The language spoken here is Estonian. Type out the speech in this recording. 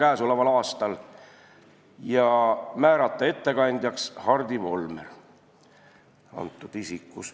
Ettekandjaks määrati Hardi Volmer.